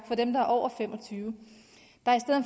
for dem der er over fem og tyve